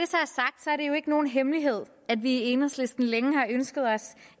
jo ikke nogen hemmelighed at vi i enhedslisten længe har ønsket os